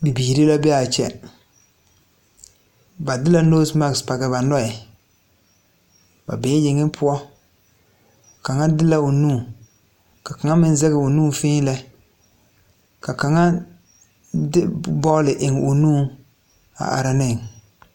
Bibiire la be aa kyɛ ba de la noosemak page ba nɔɛ ba bee yeŋe poɔ kaŋa de la o nu ka kaŋa meŋ zegoo nu fèèlɛ ka kaŋa de bɔɔle eŋ o nuŋ a are neŋ.